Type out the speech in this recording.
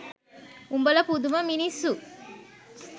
උඹල පුදුම මිනිස්සු